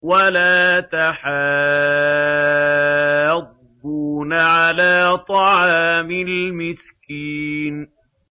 وَلَا تَحَاضُّونَ عَلَىٰ طَعَامِ الْمِسْكِينِ